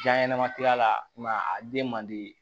Ja ɲɛnɛma tiga la a den man di